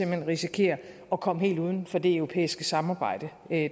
hen risikerer at komme helt uden for det europæiske samarbejde